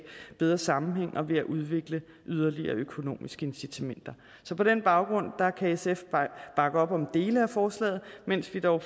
bedre sammenhæng og ved at udvikle yderligere økonomiske incitamenter på den baggrund kan sf bakke op om dele af forslaget mens vi dog